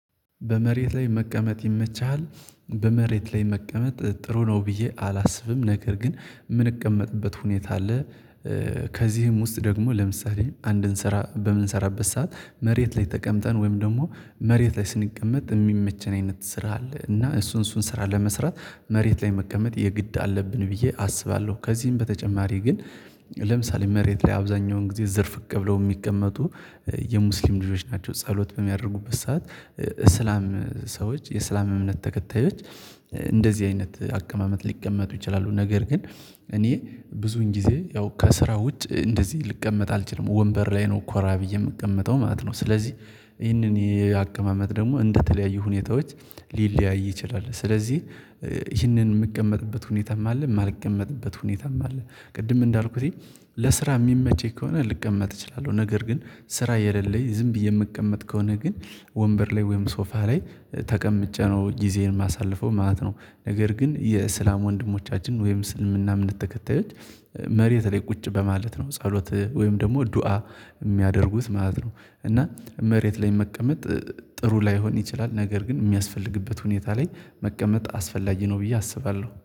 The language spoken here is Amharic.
በመሬት ላይ መቀመጥ ይመችሃል? በመሬት ላይ መቀመጥ ጥሩ ነው ብዬ አላስብም ነገር ግን የምንቀመጥበት ሁኔታ አለ። ከዚህም ውስጥ ደግሞ ለምሳሌ አንድንስራ በምንሰራበት ሰዓት መሬት ላይ ተቀምጠን ወይም ደግሞ መሬት ላይ ስንቀመጥ የሚመቸን አይነት ስራ አለ እና እሱን እሱን ስራ ለመስራት መሬት ላይ መቀመጥ የግድ አለብን ብዬ አስባለሁ። ከዚህም በተጨማሪ ግን ለምሳሌ መሬት ላይ አብዛኛውን ጊዜ ዝርፍቅብለው የሚቀመጡ የሙስሊም ልጆች ናቸው። ጸሎት በሚያደርጉበት ሰዓት እስላም ሰዎች የእስላም እምነት ተከታዮች እንደዚህ አይነት አቀማመጥ ሊቀመጡ ይችላሉ። ነገር ግን እኔ ብዙን ጊዜ ያው ከስራ ውጭ እንደዚህ ልቀመጥ አልችልም። ወንበር ላይ ነው ኮራ ብዬ የምቀመጠው ማለት ነው። ስለዚህ ይህንን የአቀማመጥ ደግሞ እንደተለያዩ ሁኔታዎች ሊለያይ ይችላል። ስለዚህ ይህንን የምቀመጥበት ሁኔታም አለ የማልቀመጥበት ሁኔታም አለ። ቅድም እንዳልኩት ለስራ የሚመቸኝ ከሆነ ልቀመጥ እችላለሁ። ነገር ግን ስራ የሌለኝ ዝም ብዬ የምቀመጥ ከሆነ ግን ወንበር ላይ ወይም ሶፋ ላይ ተቀምጬ ነው ጊዜዬን የማሳልፈው ማለት ነው። ነገር ግን የእስላም ወንድሞቻችን ወይም እስልምና እምነት ተከታዮች መሬት ላይ ቁጭ በማለት ነው ጸሎት ወይም ደግሞ ዱአ የሚያደርጉት ማለት ነው። እና መሬት ላይ መቀመጥ ጥሩ ላይሆን ይችላል ነገር ግን የሚያስፈልግበት ሁኔታ ላይ መቀመጥ አስፈላጊ ነው። ብዬ አስባለሁ